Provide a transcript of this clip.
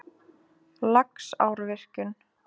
Laxárvirkjun